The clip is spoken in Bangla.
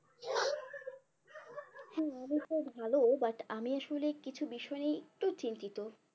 ভালো but আমি আসলে কিছু বিষয় নিয়ে একটু চিন্তিত